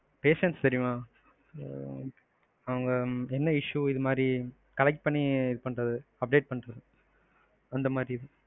patient தெரியுமா உம் அவங்க என்ன issue இதுமாதிரி collect பண்ணி இதுபண்றது. அந்தமாதிரி